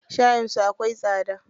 Shayin su akwai tsada.